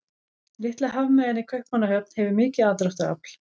Litla hafmeyjan í Kaupmannahöfn hefur mikið aðdráttarafl.